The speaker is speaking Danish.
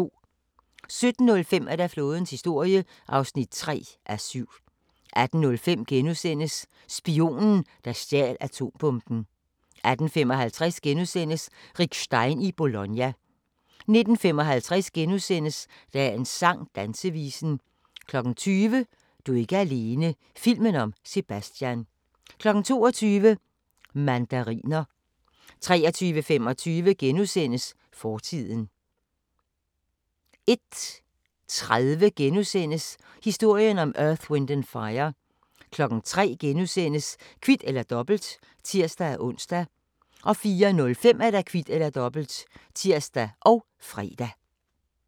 17:05: Flådens historie (3:7) 18:05: Spionen, der stjal atombomben * 18:55: Rick Stein i Bologna * 19:55: Dagens sang: Dansevisen * 20:00: Du er ikke alene - filmen om Sebastian 22:00: Mandariner 23:25: Fortiden * 01:30: Historien om Earth, Wind and Fire * 03:00: Kvit eller Dobbelt *(tir-ons) 04:05: Kvit eller Dobbelt (tir og fre)